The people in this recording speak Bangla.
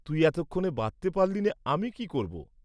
তুই এতক্ষণে বাঁধতে পারলি নে আমি কি করব?